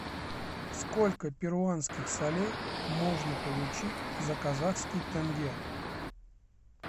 сколько перуанских солей можно получить за казахский тенге